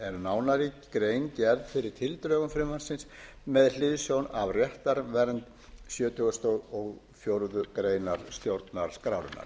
nánari grein gerð fyrir tildrögum frumvarpsins með hliðsjón af réttarvernd sjötugasta og fjórðu grein stjórnarskrárinnar